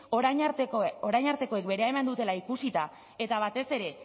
orain artekoek berea eman dutela ikusita eta batez ere